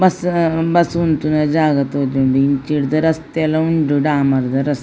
Bus bus ಉಂತುನ ಜಾಗ ತೋಜುಂಡು ಇಂಚಿರ್ಡ್ ರಸ್ತೆಲ ಉಂಡು ಡಾಮರ್ದ ರಸ್ತೆ.